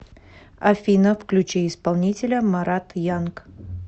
афина включи исполнителя марат янг